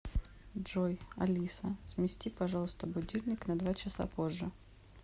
джой алиса смести пожалуйста будильник на два часа позже